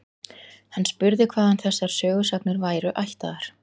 Hann spurði hvaðan þessar sögusagnir væru ættaðar.